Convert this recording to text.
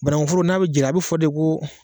Bannkun foro n'a bɛ jira ,a bɛ fɔ de ko